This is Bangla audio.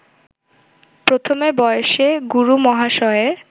প্রথমে বয়সে গুরুমহাশয়ের